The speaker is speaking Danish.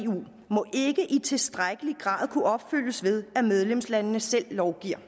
tilstrækkelig grad kunne opfyldes ved at medlemslandene selv lovgiver